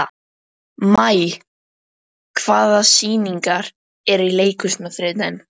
Maj, hvaða sýningar eru í leikhúsinu á þriðjudaginn?